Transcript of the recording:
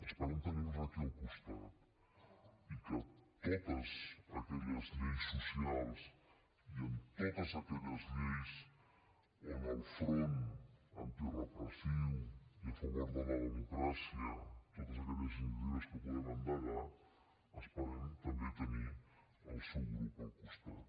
esperem tenir los aquí al costat i que en totes aquelles lleis socials i en totes aquelles lleis on el front antirepressiu i a favor de la democràcia totes aquelles iniciatives que puguem endegar esperem també tenir el seu grup al costat